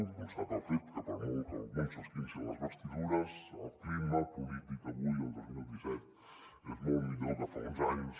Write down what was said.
es constata el fet que per molt que alguns s’esquincin les vestidures el clima polític avui el dos mil vint dos és molt millor que fa uns anys